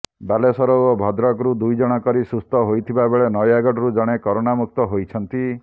ବାଲେଶ୍ୱର ଓ ଭଦ୍ରକରୁ ଦୁଇଜଣ କରି ସୁସ୍ଥ ହୋଇଥିବାବେଳେ ନୟାଗଡରୁ ଜଣେ କରୋନାମୁକ୍ତ ହୋଇଛନ୍ତି